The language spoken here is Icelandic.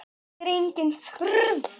Það er engin furða.